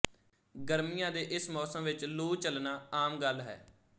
ਗਰਮੀਆਂ ਦੇ ਇਸ ਮੌਸਮ ਵਿੱਚ ਲੂ ਚੱਲਣਾ ਆਮ ਗੱਲ ਹੈ